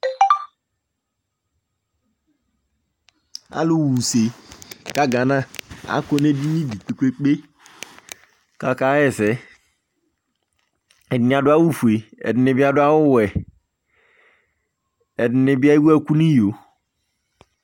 Alʋɣa use ka gana, akɔ nʋ edini dɩ kpe-kpe-kpe kʋ akaɣa ɛsɛ Ɛdɩnɩ adʋ awʋfue Ɛdɩnɩ bɩ adʋ awʋwɛ, ɛdɩnɩ bɩ ewu ɛkʋ nʋ iyo